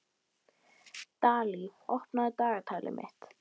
Dalí, opnaðu dagatalið mitt.